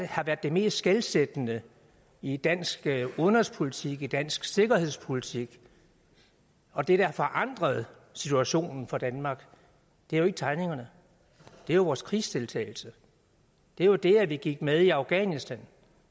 har været det mest skelsættende i dansk udenrigspolitik i dansk sikkerhedspolitik og det der har forandret situationen for danmark er jo ikke tegningerne det er vores krigsdeltagelse det er jo det at vi gik med i afghanistan